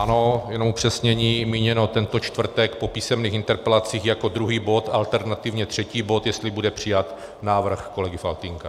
Ano, jenom upřesnění, míněno tento čtvrtek po písemných interpelacích jako druhý bod, alternativně třetí bod, jestli bude přijat návrh kolegy Faltýnka.